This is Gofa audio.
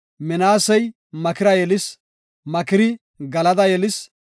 Minaasey Makira yelis, Makiri Galada yelis.